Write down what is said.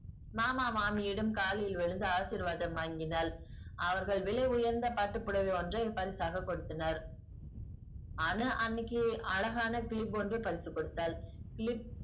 மாமா மாமியிடம் காலில் விழுந்து ஆசீர்வாதம் வாங்கினாள். அவர்கள் விலை உயர்ந்த பட்டு புடவை ஒன்றை பரிசாக கொடுத்தனர். அனு அண்ணிக்கி அழகான clip ஒன்று பரிசு கொடுத்தாள் clip